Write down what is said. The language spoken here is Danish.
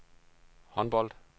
håndbold